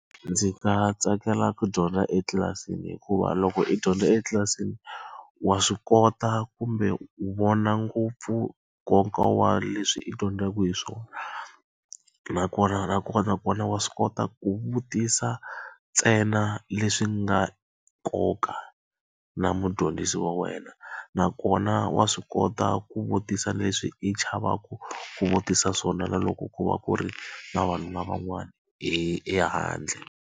Ndzi nga tsakela ku dyondza etlilasini hikuva loko i dyondza etlilasini, wa swi kota kumbe wu vona ngopfu nkoka wa leswi i dyondzaka hi swona. Nakona nakona kona wa swi kota ku vutisa ntsena leswi nga nkoka na mudyondzisi wa wena, nakona wa swi kota ku vutisa leswi i chavaka ku vutisa swona na loko ku va ku ri na vana van'wana hi ehandle.